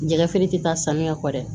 Jɛgɛfeere tɛ taa sanuya kɔ dɛ